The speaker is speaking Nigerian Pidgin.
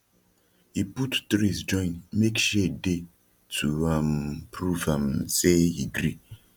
he put trees join make shade dey to um prove um say he gree